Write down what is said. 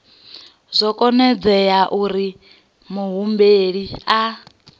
zwo ombedzelwa uri muhumbeli a